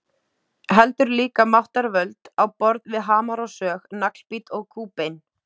heldur líka máttarvöld á borð við hamar og sög, naglbít og kúbein.